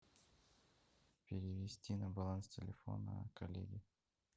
перевести на баланс телефона коллеги